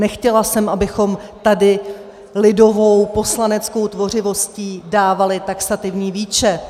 Nechtěla jsem, abychom tady lidovou poslaneckou tvořivostí dávali taxativní výčet.